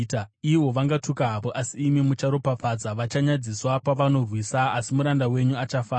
Ivo vangatuka havo, asi imi mucharopafadza; vachanyadziswa pavanorwisa, asi muranda wenyu achafara.